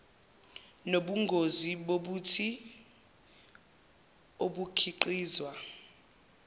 nobungozi bobuthi obukhiqizwa